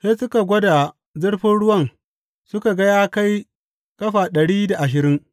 Sai suka gwada zurfin ruwan suka ga ya kai ƙafa ɗari da ashirin.